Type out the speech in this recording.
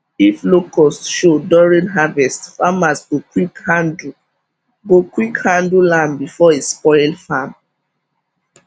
if locust show during harvest farmers go quick handle go quick handle am before e spoil farm